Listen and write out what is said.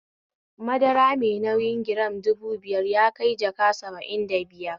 Madara mai nauyi giram dubu biyar yakai jaka saba'in da biyar